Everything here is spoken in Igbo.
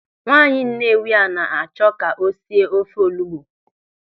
Nwaanyị Nnewi a na-achọ ka o sie ofe olugbu.